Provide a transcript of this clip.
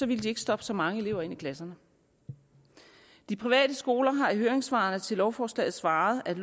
ville de ikke stoppe så mange elever ind i klasserne de private skoler har i høringssvaret til lovforslaget svaret at